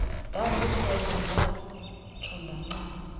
ndandikhona ndatsho ndancama